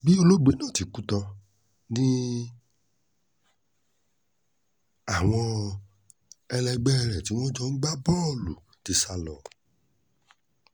bí olóògbé náà ti kú tán ni àwọn ẹlẹgbẹ́ rẹ̀ tí wọ́n jọ ń gbá bọ́ọ̀lù ti sá lọ